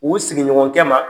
U sigiɲɔgɔnkɛ ma